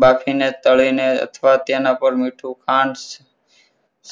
બાફીને તળીને અથવા તેના પર મીઠું પાન